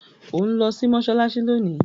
o nlò sí Mossalassi lóni!